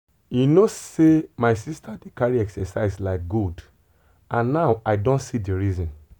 you know sey my sister dey carry exercise like gold and now i don see the reason.